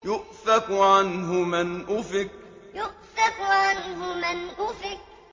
يُؤْفَكُ عَنْهُ مَنْ أُفِكَ يُؤْفَكُ عَنْهُ مَنْ أُفِكَ